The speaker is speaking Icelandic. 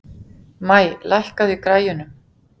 Maj, lækkaðu í græjunum.